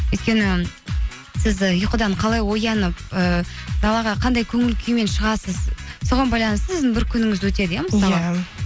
өйткені сіз і ұйқыдан қалай оянып ыыы далаға қандай көңіл күймен шығасыз соған байланысты сіздің бір күніңіз өтеді иә